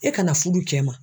E kana fudu kɛ ma.